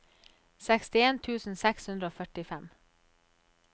sekstien tusen seks hundre og førtifem